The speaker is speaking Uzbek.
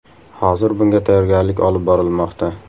Hozir bunga tayyorgarlik olib borilmoqda.